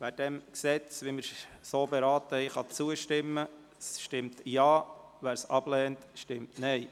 Wer diesem Gesetz, wie wir es beraten haben, zustimmt, stimmt Ja, wer dies ablehnt, stimmt Nein.